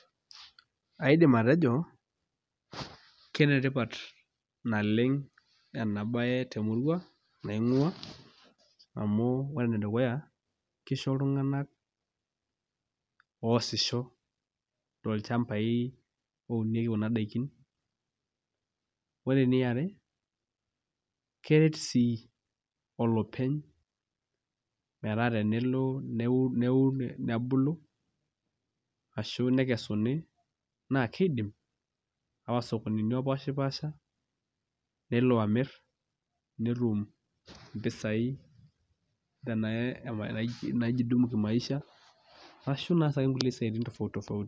Aidim atejo kenetipat naleng' ena baye temurua naing'uaa amu ore enedukuya kisho iltung'anak oosisho tolchambai ounieki kuna daiki ore eniare keret sii olopeny metaa tenelo neun nebulu ashu nekesuni naa kiidim aawa isokonini oopaashipaasha nelo amirr netum mpisai naijidumu kimaisha ashu naake itaas kulie siaitin tofauti tofauti.